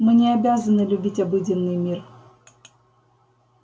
мы не обязаны любить обыденный мир